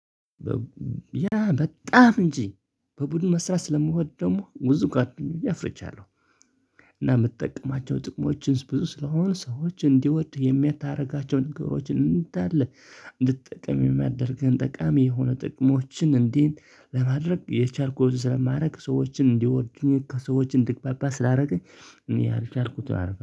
ያ በጣም እንጂ በቡድን መስራት ስለምወድ ደግሞ ብዙ ጓደኞቼ አፍርቻለሁ። እና የምጠቀማቸው ጥቅሞች ብዙ ስለሆነ ሰዎች እንዲወዱህ የምታርጋቸውን ነገሮችን እንዳለ እንድትጠቀም የሚያደርገን ጠቃሚ የሆነ ጥቅሞችን እንዴት ለማድረግ የቻልኩን ስለማረግ ሰዎችን እንዲወዱኝ ከሰዎች እንድግባባ ስላደረገኝ እኔ አልቻልኩትም አርፈን